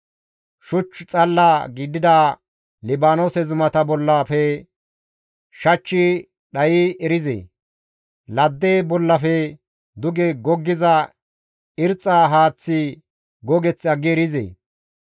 Shuch xalla gidida Libaanoose zumata bollafe shachchi dhayi erizee? Ladde bollafe duge goggiza irxxa haaththi gogeth aggi erizee?